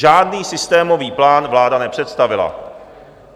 Žádný systémový plán vláda nepředstavila!